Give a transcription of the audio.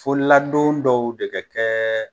Fo ladon dɔw de ka kɛ